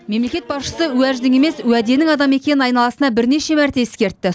мемлекет басшысы уәждің емес уәденің адамы екенін айналасына бірнеше мәрте ескертті